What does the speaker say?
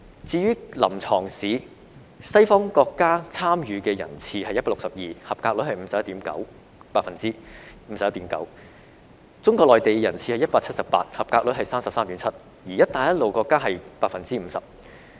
至於臨床試，西方國家的參與人次是 162， 及格率是 51.9%； 中國內地的參與人次是 178， 及格率是 33.7%；" 一帶一路"國家則是 50%。